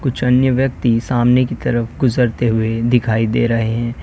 कुछ अन्य व्यक्ति सामने की तरफ गुजरते हुए दिखाई दे रहे हैं।